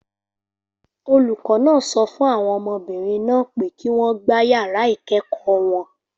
Olùkọ́ náà sọ fún àwọn ọmọbìnrin náà pé kí wọ́n gba yàrá ìkẹ́kọ̀ọ́ wọn.